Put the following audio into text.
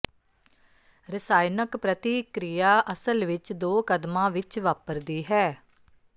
ਰਸਾਇਣਕ ਪ੍ਰਤੀਕ੍ਰਿਆ ਅਸਲ ਵਿੱਚ ਦੋ ਕਦਮਾਂ ਵਿੱਚ ਵਾਪਰਦੀ ਹੈ